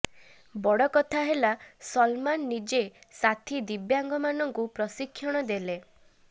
ବଡ଼କଥା ହେଲା ସଲମାନ ନିଜେ ସାଥୀ ଦିବ୍ୟାଙ୍ଗମାନଙ୍କୁ ପ୍ରଶିକ୍ଷଣ ଦେଲେ